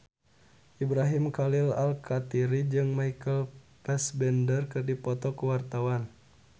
Ibrahim Khalil Alkatiri jeung Michael Fassbender keur dipoto ku wartawan